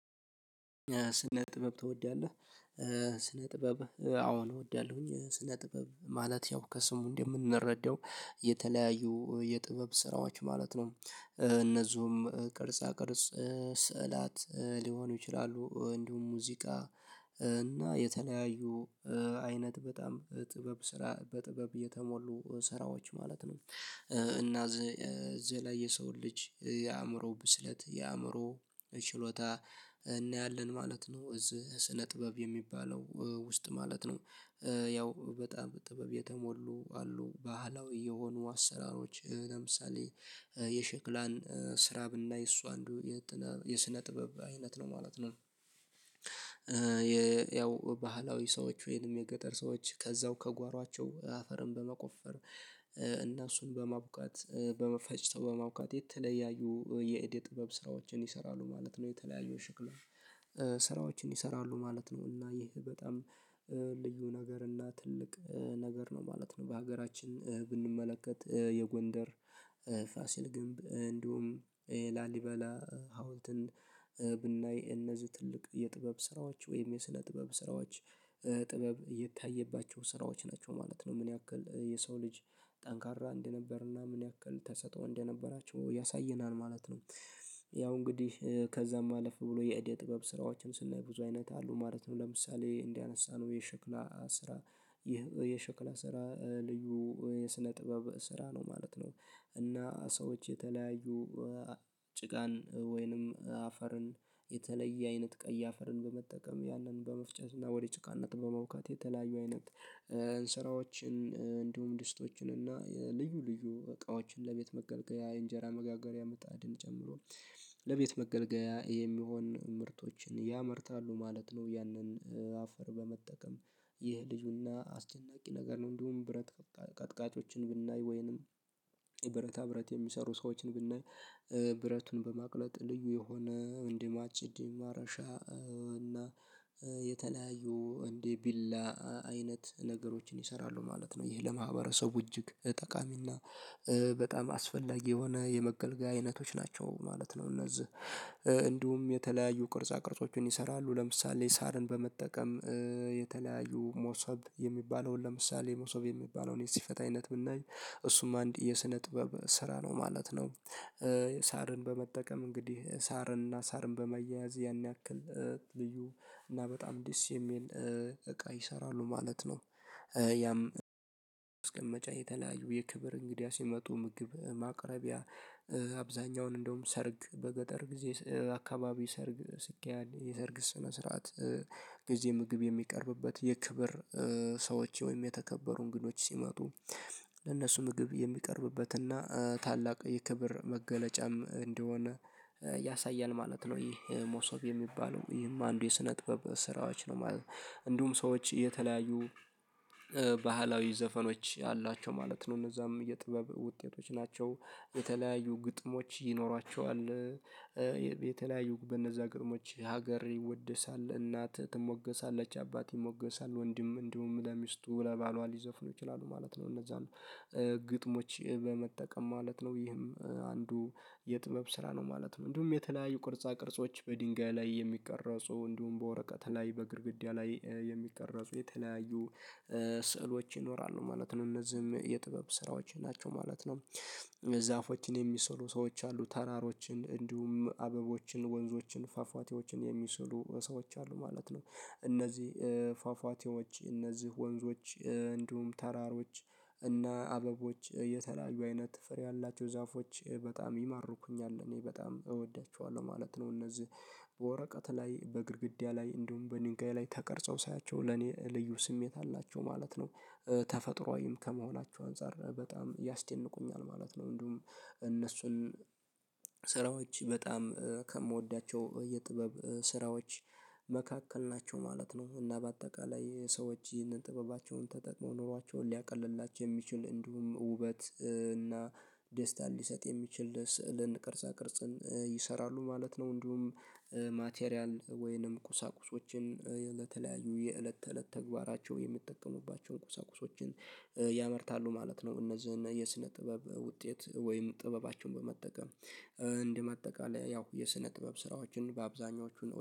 ስነ ጥበብ ትወዳለህ? ስነ ጥበብ አዎን እወዳለሁኝ ስነ ጥበብ ማለት ያው ከስሙ እንደምንረዳው የተለያዩ የጥበብ ስራዎች ማለት ነው እነዚህም ቅርጻ ቅርጽ ስዕላት ሊሆኑ ይችላሉ። እንዲሁም ሙዚቃ እና የተለያዩ አይነት በጣም ጥበብ ስራ በጥበብ እየተሞሉ ስራዎች ማለት ነው። እና እዚህ ላይ የሰውን ልጅ የአእምሮ ብስለት የአእምሮ ችሎታ እናያለን ማለት ነው። እዚህ ስነ ጥበብ የሚባለው ውስጥ ማለት ነው። ያው በጣም ጥበብ የተሞሉ አሉ ባህላዊ የሆኑ አሰራሮች ለምሳሌ የሸክላን ስራ ብናይ እሱ አንዱ የስነ ጥበብ አይነት ነው ማለት ነው። ያው ባህላዊ ሰዎች ወይንም የገጠር ሰዎች ከዛው ከጓሯቸው አፈርን በመቆፈር እና እሱን በማቡካት በመፈጭተው በማቡካት የተለያዩ የእደ ጥበብ ስራዎችን ይሰራሉ ማለት ነው። የተለያዩ የሽክላ ስራዎችን ይሰራሉ ማለት ነው። እና ይህ በጣም ልዩ ነገር እና ትልቅ ነገር ነው ማለት ነው። በሀገራችን ብንመለከት የጎንደር ፋሲል ግንብ እንደውም ላሊበላ ሀውልትን ብናይ እነዚህ ትልቅ የጥበብ ስራዎች ወይም የስነ ጥበብ ስራዎች ጥበብ የታየባቸው ስራዎች ናቸው ማለት ነው። ምን ያክል የሰው ልጅ ጠንካራ እንደነበርና ምን ያክል ተሰጥኦ እንደነበራቸው ያሳየናል ማለት ነው። ያው እንግዲህ ከዛም አለፍ ብሎ የእደ ጥበብ ስራዎችን ስናይ ብዙ አይነት አሉ ማለት ነው። ለምሳሌ እንዳነሳነው የሸክላ ስራ ይህ የሸክላ ስራ ልዩ የስነ ጥበብ ስራ ነው ማለት ነው። እና ሰዎች የተለያዩ ጭቃን ወይንም አፈርን የተለየ አይነት ቀይ አፈርን በመጠቀም ያንን በመፍጨት እና ወደ ጭቃነት በማቡካት የተለያዩ አይነት ስራዎችን እንዲሁም ድስቶችን እና ልዩ ልዩ እቃዎችን ለቤት መገልገያ እንጀራ መጋገሪያ ምጣድን ጨምሮ ለቤት መገልገያ የሚሆን ምርቶችን ያመርታሉ ማለት ነው። ያንን አፈር በመጠቀም ይህ ልዩና አስደናቂ ነገር ነው። እንዲሁም ብረት ቀጥቃጮችን ብናይ ወይንም ብረታ ብረት የሚሰሩ ሰዎችን ብናይ ብረቱን በማቅለጥ ልዩ የሆነ እንደ ማጭድ ማረሻ እና የተለያዩ እንደ ቢላ አይነት ነገሮችን ይሰራሉ ማለት ነው። ይህ ለማህበረሰቡ እጅግ ጠቃሚና በጣም አስፈላጊ የሆነ የመገልገያ አይነቶች ናቸው ማለት ነው። እነዚህ እንዲሁም የተለያዩ ቅርጻ ቅርጾችን ይሰራሉ ለምሳሌ ሳርን በመጠቀም የተለያዩ ሞሰብ የሚባለውን ለምሳሌ ሞሰብ የሚባለውን የስፌታ አይነት ብናይ እሱም አንድ የስነ ጥበብ ስራ ነው ማለት ነው። ሳርን በመጠቀም እንግዲህ ሳርንና ሳርን በማያያዝ ያን ያክል ልዩ እና በጣም ደስ የሚል እቃ ይሰራሉ ማለት ነው። ያም ማስቀመጫ የተለያዩ የክብር እንግዳ ሲመጡ ምግብ ማቅረቢያ አብዛኛውን እንደውም ሰርግ በገጠር ጊዜ አካባቢ ሰርግ ሲካሄድ የሰርግ ስነ ስርዓት ጊዜ ምግብ የሚቀርብበት የክብር ሰዎች ወይም የተከበሩ እንግዶች ሲመጡ ለነሱ ምግብ የሚቀርብበትና ታላቅ የክብር መገለጫም እንደሆነ ያሳያል ማለት ነው። ይሄ ሞሶብ የሚባለው ይህም አንዱ የስነ ጥበብ ስራዎች ነው ማለት ነው። እንዲሁም ሰዎች የተለያዩ ባህላዊ ዘፈኖች አሏቸው ማለት ነው እነዛም የጥበብ ውጤቶች ናቸው። የተለያዩ ግጥሞች ይኖራቸዋል የተለያዩ በነዛ ግጥሞች ሀገር ይወደሳል እናት ትሞገሳለች አባት ይሞገሳል ወንድም እንዲሁም ለሚስቱ ለባሏ ሊዘፍኑ ይችላሉ ማለት ነው። እነዛን ግጥሞች በመጠቀም ማለት ነው ይህም አንዱ የጥበብ ስራ ነው ማለት ነው። እንዲሁም የተለያዩ ቅርጻ ቅርጾች በድንጋይ ላይ የሚቀረጹ እንዲሁም በወረቀት ላይ በግድግዳ ላይ የሚቀረጹ የተለያዩ ስዕሎች ይኖራሉ ማለት ነው እነዚህም የጥበብ ስራዎች ናቸው ማለት ነው። ዛፎችን የሚሰሩ ሰዎች አሉ ተራሮችን እንዲሁም አበቦችን ወንዞችን ፏፏቴዎችን የሚሰሩ ሰዎች አሉ ማለት ነው። እነዚህ ፏፏቴዎች እነዚህ ወንዞች እንዲሁም ተራሮች እና አበቦች የተለያዩ አይነት ፍሬ ያላቸው ዛፎች በጣም ይማርኩኛል እኔ በጣም እወዳቸዋለሁ ማለት ነው። እነዚህ በወረቀት ላይ በግድግዳ ላይ እንደውም በድንጋይ ላይ ተቀርጸው ሳያቸው ለኔ ልዩ ስሜት አላቸው ማለት ነው። ተፈጥሮአዊም ከመሆናቸው አንፃር በጣም ያስደንቁኛል ማለት ነው። እንዲሁም እነሱን ስራዎች በጣም ከምወዳቸው የጥበብ ስራዎች መካከል ናቸው ማለት ነው። እና በአጠቃላይ ሰዎች ይህንን ጥበባቸውን ተጠቅመው ኑሯቸውን ሊያቀልላቸው የሚችል እንዲሁም ውበት እና ደስታን ሊሰጥ የሚችል ስዕልን ቅርጻ ቅርጽን ይሰራሉ ማለት ነው። እንዲሁም ማቴሪያል ወይንም ቁሳቁሶችን ለተለያዩ የእለት ተእለት ተግባራቸው የሚጠቀሙባቸውን ቁሰቁሶችን ያመርታሉ ማለት ነው። እነዚህን የስነ ጥበብ ውጤት ወይም ጥበባቸውን በመጠቀም እንደ ማጠቃለያ ያው የስነ ጥበብ ስራዎችን በአብዛኞቹ